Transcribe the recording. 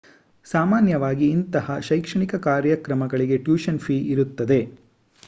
ಸಾಮಾನ್ಯವಾಗಿ ಇಂತಹ ಶೈಕ್ಷಣಿಕ ಕಾರ್ಯಕ್ರಮಗಳಿಗೆ ಟ್ಯೂಷನ್ ಫೀ ಇರುತ್ತದೆ